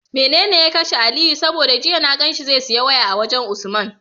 Mene ya kashe aliyu? saboda jiya na ganshi zai siya waya a wajan usman